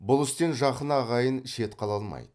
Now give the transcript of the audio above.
бұл істен жақын ағайын шет қала алмайды